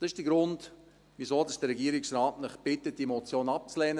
Das ist der Grund, weshalb der Regierungsrat Sie bittet, die Motion abzulehnen: